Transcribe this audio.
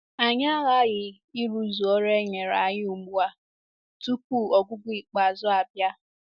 Anyị aghaghị ịrụzu ọrụ e nyere anyị ugbu a tupu ọgwụgwụ ikpeazụ abịa.